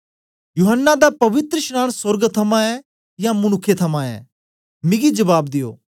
यूहन्ना दा पवित्रशनांन सोर्ग थमां ऐ यां मनुक्खें थमां ऐ मिगी जबाब दियो